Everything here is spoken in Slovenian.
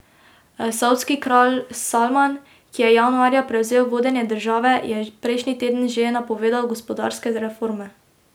Savdski kralj Salman, ki je januarja prevzel vodenje države, je prejšnji teden že napovedal gospodarske reforme.